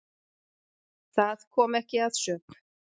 Það kom ekki að sök.